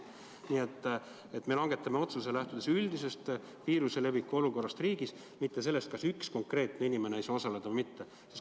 Nii et me langetame otsuse, lähtudes üldisest viiruse levikust riigis, mitte sellest, kas üks konkreetne inimene saab osaleda või mitte.